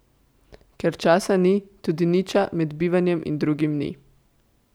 Ker časa ni, tudi Niča med enim bivanjem in drugim ni.